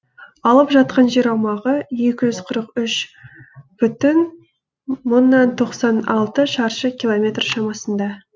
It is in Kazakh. алып жатқан жер аумағы екі жүз қырық үш бүтін мыңнан тоқсан алты шаршы километр шамасында